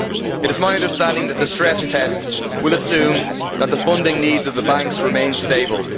It is my understanding that the stress tests will assume that the funding needs of the banks remain stable.